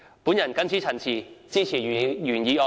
我謹此陳辭，支持原議案。